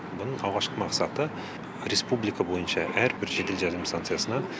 бұның алғашқы мақсаты республика бойынша әрбір жедел жәрдем станциясына